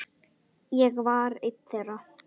Ég var ein þeirra.